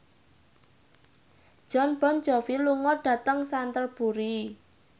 Jon Bon Jovi lunga dhateng Canterbury